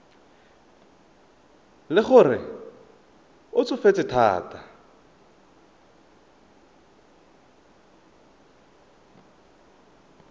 le gore o tsofetse thata